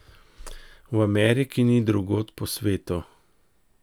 V Ameriki in drugod po svetu.